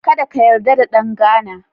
Kada ka yarda da ɗan Ghana.